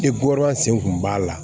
E bɔɔrɔn sen kun b'a la